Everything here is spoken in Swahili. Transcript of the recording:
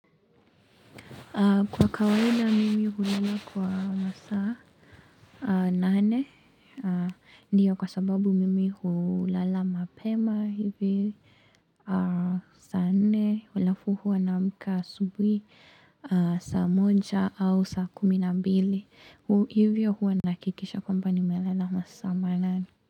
Kwa kawaida, mimi hulala kwa masaa nane, ndiyo kwa sababu mimi hulala mapema hivi. Saa nne, alafu huwa naamka asubuhi saa moja au saa kumi na mbili. Hivyo huwa nahakikisha kwamba nimelala masaa manane.